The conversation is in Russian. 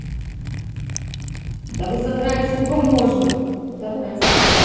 да вы задрали сколько можно второй раз